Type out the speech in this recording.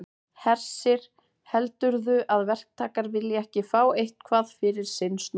Hersir: Heldurðu að verktakar vilji ekki fá eitthvað fyrir sinn snúð?